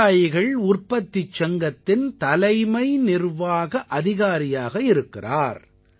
விவசாயிகள் உற்பத்திச் சங்கத்தின் தலைமை நிர்வாக அதிகாரியாக இருக்கிறார்